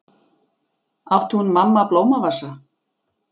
Átti hún mamma blómavasa?